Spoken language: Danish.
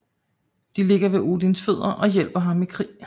De ligger ved Odins fødder og hjælper ham i krig